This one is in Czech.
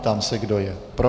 Ptám se, kdo je pro.